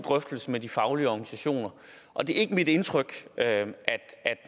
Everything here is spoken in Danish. drøftelser med de faglige organisationer og det er ikke mit indtryk at